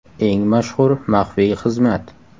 Eng mashhur maxfiy xizmat.